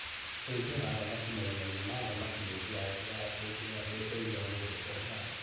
ũrĩithia wa thamaki marima-inĩ ma thamaki nĩ njĩra njega ya kuongerera mbeca irĩa mũndũ onaga